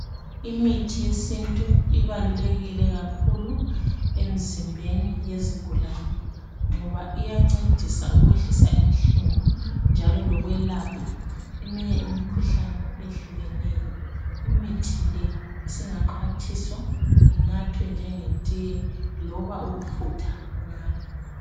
Imithi yesintu ibalulekile kakhulu emzimbeni yezigulane, ngoba iyancedisa ukwehlisa inhlungu njalo lokwelapha eminye imikhuhlane eyehlukeneyo imithi le isingaxhwathiswa inathwe njengetiye loba ukufutha ngayo.